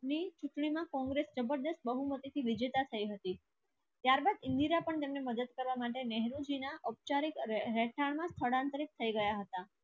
ની ચૂંટણીમાં કોંગ્રેસ જબરદસ્ત બહુમતીથી વિજેતા થઈ હતી ત્યારબાદ ઇન્દિરા પણ તેમને મદદ કરવા માટે નેહરુજીના ઔપચારિક રહેઠાણના સ્થળાંતરિત થઈ ગયા હતા.